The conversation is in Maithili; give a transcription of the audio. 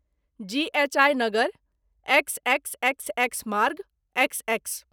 जी एच आई नगर, एक्सएक्सएक्सएक्स मार्ग, एक्सएक्स।